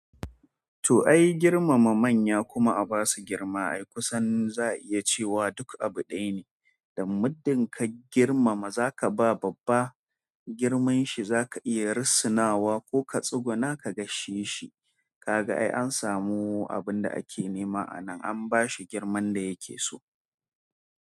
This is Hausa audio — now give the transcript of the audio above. To ai girmama manya kuma a ba su girma. Ai kusan za a iya cewa duk abu ɗaya ne. Dan muddin ka girmama zakaba babba girman shi zaka iya risinawa ko ka tsuguna ka gaishe shi kaga ai an samu abun da ake nema a nan an bashi girman da yake so.